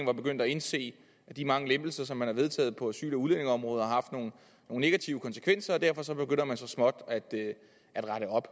var begyndt at indse at de mange lempelser som man har vedtaget på asyl og udlændingeområdet har haft nogle negative konsekvenser og derfor begynder man så småt at rette op